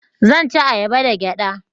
zan ci ayaba da gyada